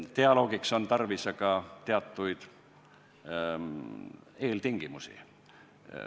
Dialoogiks on aga tarvis teatud eeltingimusi.